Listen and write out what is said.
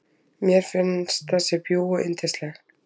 Mér finnst þessi bjúgu yndisleg.